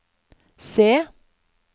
se